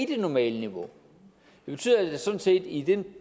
det normale niveau det betyder sådan set i den